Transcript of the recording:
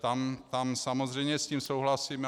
Tam samozřejmě s tím souhlasím.